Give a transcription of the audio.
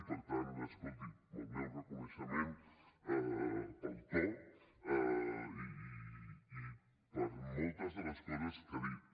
i per tant escolti el meu reconeixement pel to i per moltes de les coses que ha dit